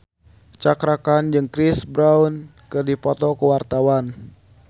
Cakra Khan jeung Chris Brown keur dipoto ku wartawan